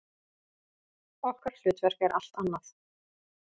Okkar hlutverk er allt annað.